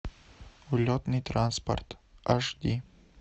улетный транспорт аш ди